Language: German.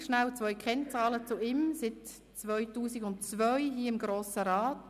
Ich hoffe, dass der Funke auch bei Ihnen hier im Saal gesprungen ist.